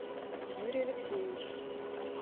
юрий алексеевич